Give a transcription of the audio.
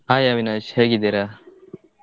Hai Avinash ಹೇಗಿದ್ದಿರ?